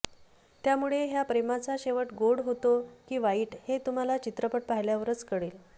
त्यामुळे ह्या प्रेमाचा शेवट गोड होती की वाईट हे तुम्हाला चित्रपट पाहिल्यावरच कळेल